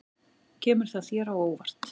Kemur það þér á óvart?